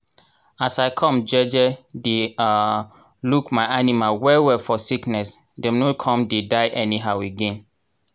as i come um dey um look my animal well well for sickness dem no come dey die anyhow again